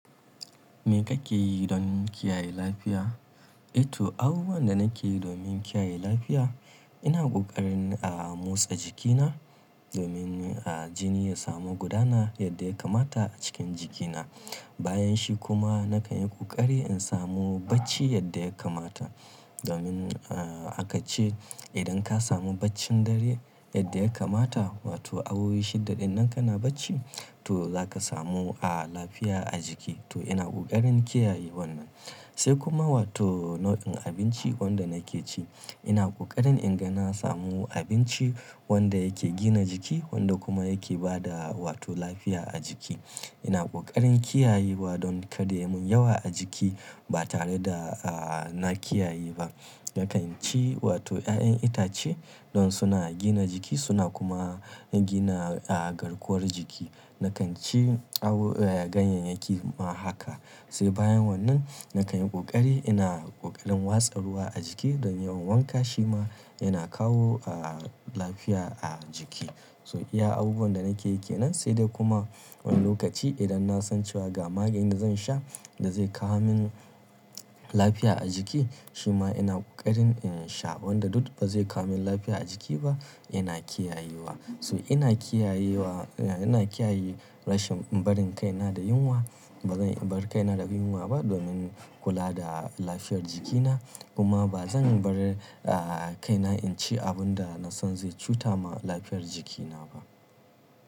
Me kake yi don kiyaye lafiya? Eh to abubuwan da nake yi domin kiyaye lafiya, ina ƙoƙarin a motsa jikina domin jini ya samu gudana yadda ya kamata a cikin jikina. Bayanshi kuma na kan yi ƙoƙari in samu bacci yadda ya kamata. Domin aka ce idan ka samu baccin dare yadda ya kamata, wato awowi shidda dinnan kana bacci, to zaka samu lafiya a jiki. To ina ƙoƙarin kiyaye wannan. Sai kuma wato nau'in abinci wanda nake ci, ina ƙoƙarin in ga na samu abinci wanda yake gina jiki wanda kuma yake ba da wato lafiya a jiki. Ina ƙoƙarin kiyayewa don kada yamun yawa a jiki ba tare da na kiyaye ba. Nakan ci wato 'ya'yan itace don suna gina jiki suna kuma gina garkuwar jiki. Nakan ci ganyayyaki ma haka. Sai bayan wannan na kan yi ƙoƙari ina ƙoƙarin watsa ruwa a jiki don yawan wanka shi ma yana kawo lafiya a jiki. So iya abubuwan da nake yake nan sai dai kuma wani lokaci idan na san cewa ga maganin da zan sha da zai kawo min lafiya a jiki, shi ma ina ƙoƙarin in sha wanda duk ba zai kawo min lafiya a jiki ba ina kiyayewa. So ina kiyayewa, ina kiyaye rashin barin kaina da yunwa. Ba zan bar kaina da yunwa ba domin kula da lafiyar jikina. Kuma ba zan bar kaina in ci abun da na san zai cuta ma lafiyar jikina ba.